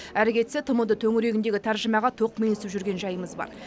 әрі кетсе тмд төңірегіндегі тәржімаға тоқмейілсіп жүрген жайымыз бар